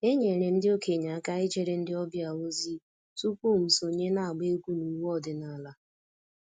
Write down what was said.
Enyere m ndị okenye aka ijere ndị ọbịa ozi tupu m sonye n’agba egwú n’ụwe ọdịnala